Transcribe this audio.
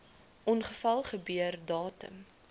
ongeval gebeur datum